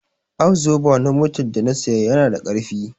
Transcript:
Abzoba na motar da na saya yana da ƙarfi